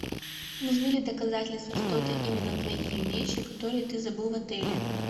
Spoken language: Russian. нужны ли доказательства что это именно твои вещи которые ты забыл в отеле